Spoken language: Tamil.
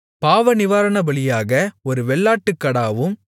பாவநிவாரணபலியாக ஒரு வெள்ளாட்டுக்கடாவும்